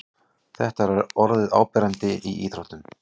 Þetta er orðið áberandi í íþróttum.